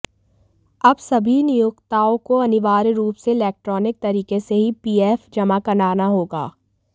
अब सभी नियोक्ताओं को अनिवार्य रूप से इलेक्ट्रॉनिक तरीके से ही पीएफ जमा कराना होगा